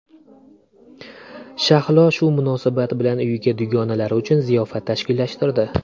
Shahlo shu munosabat bilan uyida dugonalari uchun ziyofat tashkillashtirdi.